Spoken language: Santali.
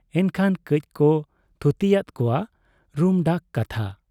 ᱮᱱᱠᱷᱟᱱ ᱠᱟᱹᱡ ᱠᱚ ᱛᱷᱩᱛᱤᱭᱟᱫ ᱠᱚᱣᱟ ᱨᱩᱢᱰᱟᱠ ᱠᱟᱛᱷᱟ ᱾